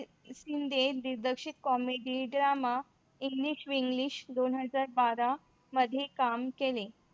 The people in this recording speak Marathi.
शिंदे दिग्दर्शक Comedy Drama English Weeglish दोन हजार बारा मध्ये काम केले.